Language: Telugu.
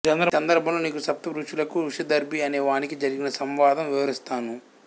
ఈ సందర్భంలో నీకు సప్తఋషులకు వృషాదర్భి అనే వానికి జరిగిన సంవాదం వివరిస్తాను